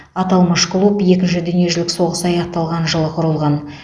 аталмыш клуб екінші дүниежүзілік соғыс аяқталған жылы құрылған